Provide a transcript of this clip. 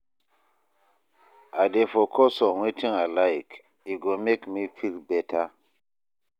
I dey focus on wetin I like, e go make me feel beta